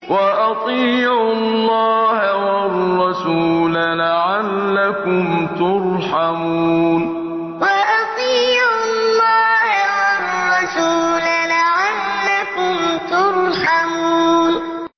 وَأَطِيعُوا اللَّهَ وَالرَّسُولَ لَعَلَّكُمْ تُرْحَمُونَ وَأَطِيعُوا اللَّهَ وَالرَّسُولَ لَعَلَّكُمْ تُرْحَمُونَ